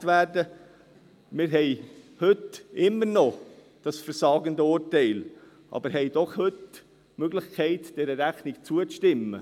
Wir haben heute immer noch das versagende Urteil, aber wir haben heute doch die Möglichkeit, dieser Rechnung zuzustimmen.